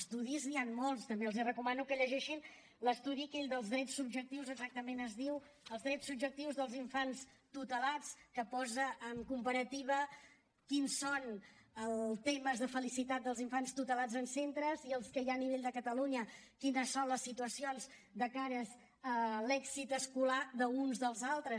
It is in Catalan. estudis n’hi han molts també els recomano que llegeixin l’estudi aquell dels drets subjectius exactament es diu els drets subjectius dels infants tutelats que posa en comparativa quins són els temes de felicitat dels infants tutelats en centres i els que hi ha a nivell de catalunya quines són les situacions de cara a l’èxit escolar d’uns dels altres